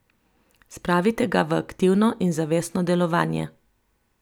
Spravite ga v aktivno in zavestno delovanje.